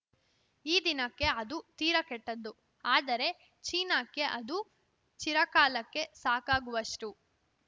ಈ ದಿನಕ್ಕೆ ಅದು ತೀರ ಕೆಟ್ಟದ್ದು ಆದರೆ ಚೀನಾಕ್ಕೆ ಅದು ಚಿರಕಾಲಕ್ಕೆ ಸಾಕಾಗುವಷ್ಟು